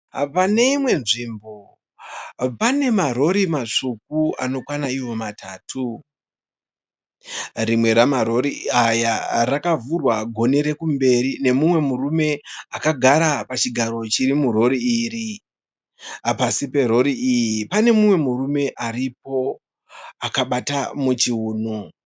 Paneimwe nzvimbo pane marori matsvuku anokwana iwo matatu. Rimwe marori aya rakavhurwa goni rekumberi nemumwe murume akagara pachigaro chirimuroyi iri. Pasi perori iyi panemumwe murume aripo akabata muchuno.